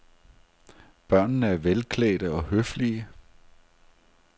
Børnene er velklædte og høflige.